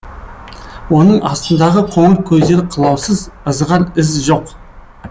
оның астындағы қоңыр көздері қылаусыз ызғар із жоқ